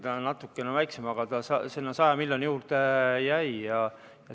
See oli natukene väiksem, aga sinna 100 miljoni juurde see jäi.